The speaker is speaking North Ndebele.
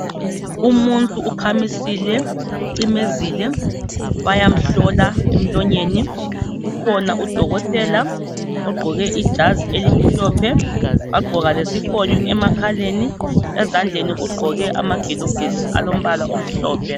Umuntu ukhamisile, ucimezile bayamhlola emlonyeni. Kukhona udokotela ogqoke ijazi elimhlophe wagqoka lesifonyo emakhaleni, ezandleni ugqoke amagilovisi alombala omhlophe.